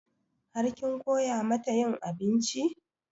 Har kin koya mata yin abinci?